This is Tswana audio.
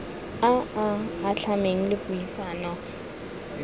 a a atlhameng le puisano